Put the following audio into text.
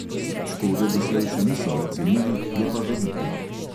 Škode doslej še niso ocenili, je pa velika.